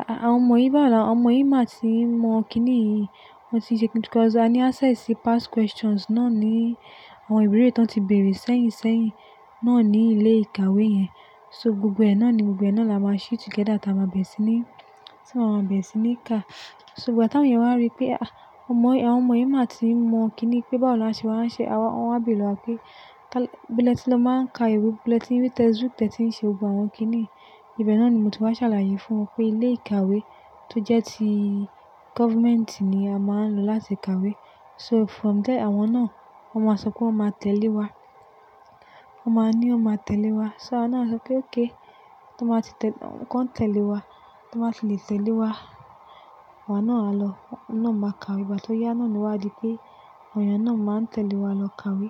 "À-à-àwọn ọmọ yìí báwo ni àwọn ọmọ yìí máa ti mọ kín nìyí?" Wọn ti ṣe-- because a ní access sí past questions náà ní, àwọn ìbéèrè tó ti bèèrè sẹ́yìn sẹ́yìn náà ní ilé ìkàwé yẹn. So gbogbo ẹ̀ náà ni gbogbo ẹ̀ náà là wá ṣe together tí a maá bẹ̀re sí ní, tí maa má bèrè sí ní ká. Ṣùgbọ́n ìgbà tí àwọn èèyàn wá rí pé, "Ah, àwọn ọmọ yìí máa ti mọ kín nìyí pé báwo ni a ṣe máa ń ṣe awà," wọ́n wá bé lọ wá pé, "ibo le tí lọ máa ń ka ìwé, ibo le tí ri textbook tí ẹ ti ń ṣe gbogbo àwọ́n kín nìyí?" Ibẹ̀ náà ni mo ti wá ṣàlàyé fún wọn pé ilé ìkàwé tó jẹ́ ti government ni a máa ń lò láti ka ìwé. So from there, àwọn náà wọ́n máa sọ pé wọ́n máa tẹ̀lé wa. Wọ́n máa ní wọn máa tẹ̀lé wa. So a náà sọ pé okay To n ba tí tẹ̀-- kí wọ́n tẹ̀lé wa, ti wọ́n bá ti lè tẹ̀lé wa, àwa náà á lọ, náà máa ka ìwé. Ìgbà tí ó yá náà ni wá di pé àwọn èèyàn náà máa tẹ̀lé wa lọ ka ìwé.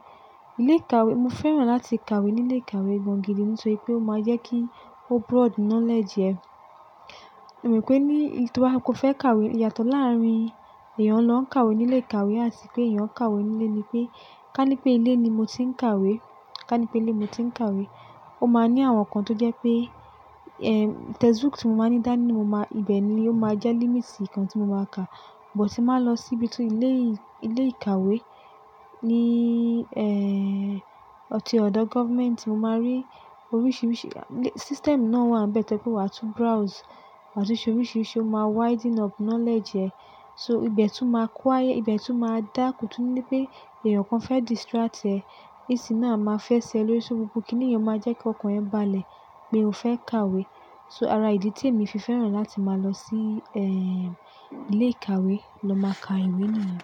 Ilé ìkàwé, mo fẹ́ràn láti ka ìwé ní ilé ìkàwé gan gidi nítorí pé ó máa jẹ́ kí broad knowledge ẹ. E mò pé ní, tí wà á, kó fẹ́ ka ìwé yàtọ̀ láàrín èèyàn lọ ka ìwé ní ilé ìkàwé àti pé èèyàn ka ìwé nílé ni pé, ká ní pé ilé ni mo ti ń ka ìwé, ká ní pé ilé mo ti ń ka ìwé, ó máa ní àwọn nǹkan tó jẹ́ pé, eh, textbook tí mo máa ní dání mo máa-- ibẹ̀ ni ó máa jẹ́ limit ìkan tí mo máa kà. But tí mo bá lọ síbi ti ilé, ilé ìkàwé ní, eh, ti ọ̀dọ̀ government, mo máa rí oríṣiríṣi-- system náà wà níbẹ̀ tó jé pe wà á tún browse, wà á tún ṣe oríṣiríṣi ó máa widen up knowledge ẹ. So ibẹ̀ tún máa quiet, ibẹ̀ tún máa dá kó tún nísí pé èèyàn kan fẹ́ distract ẹ. Ac náà a máa fẹ́ ṣe ẹ lóríṣiríṣi ohun gbogbo kí nìyẹn máa jẹ́ kí ọkàn ẹ balẹ̀ pé o fẹ́ ka ìwé. So ara ìdí tí èmi fi fẹ́ràn láti máa lọ sí, eh, ilé ìkàwé lọ máa ka ìwé nìyẹn.